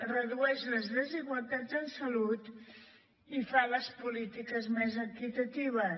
redueix les desigualtats en salut i fa les polítiques més equitatives